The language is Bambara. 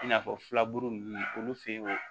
I n'a fɔ filaburu ninnu olu fɛ yen